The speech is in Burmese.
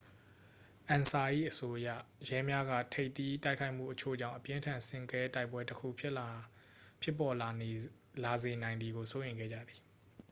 "အန်ဆာ၏အဆိုအရ ရဲများက ထိပ်သီးတိုက်ခိုက်မှုအချို့ကြောင့် အပြင်းအထန်ဆင့်ကဲတိုက်ပွဲတစ်ခု ဖြစ်ပေါ်လာစေနိုင်သည်ကို စိုးရိမ်ခဲ့ကြသည်။